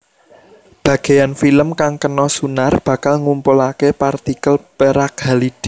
Bageyan film kang kena sunar bakal ngumpulake partikel perak halide